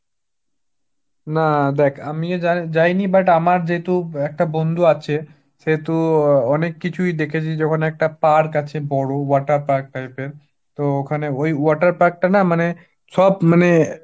না দেখ আমিও যা~ যাইনি, but যেহেতু একটা বন্ধু আছে সেহেতু আহ অনেক কিছুই দেখেছি যে ওখানে একটা park আছে বড়, water park type এর, তো ওখানে ওই water park টা না মানে সব মানে